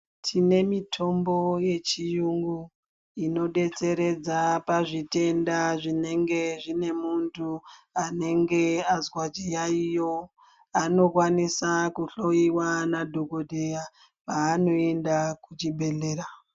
Tinemitombo yechiyungu inodetseredza pazvitenda zvinenge zvinemuntu anenge azwa chiyaiyo, anokwanisa kuhloyiwa nadhogodheya paanoenda kuchibhedhlera.